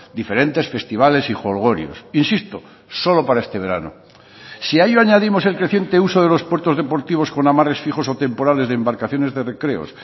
diferentes festivales y jolgorios insisto solo para este verano si a ello añadimos el creciente uso de los puertos deportivos con amarres fijos o temporales de embarcaciones de recreos